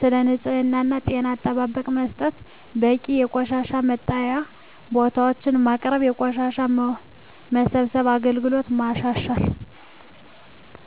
ስለ ንፅህና እና ጤና ትምህርት መስጠት በቂ የቆሻሻ መጣያ ቦታዎች ማቅረብ የቆሻሻ መሰብሰብ አገልግሎትን ማሻሻል